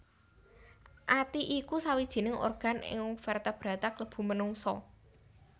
Ati iku sawijining organ ing vertebrata klebu menungsa